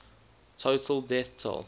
total death toll